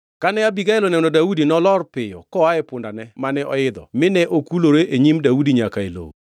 Kane Abigael oneno Daudi nolor piyo koa e pundane mane oidho mine mokulore e nyim Daudi nyaka e lowo.